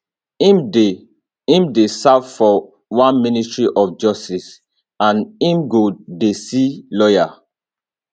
im dey im dey serve for one ministry of justice and im go dey see lawyer